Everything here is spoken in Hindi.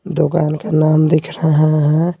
दुकान का नाम दिख रहा है।